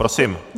Prosím.